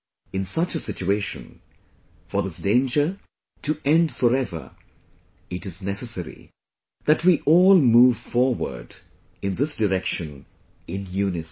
In such a situation, for this danger to end forever, it is necessary that we all move forward in this direction in unison